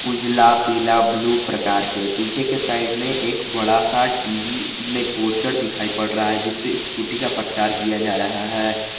उजाला पीला ब्लू प्रकार के पीछे के साइड में एक बड़ा सा टी_वी में पोस्टर दिखाई पड़ रहा है जिस पे स्कूटी का प्रचार किया जा रहा है।